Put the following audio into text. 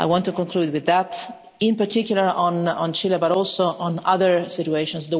I want to conclude with that, in particular on Chile, but also on other situations.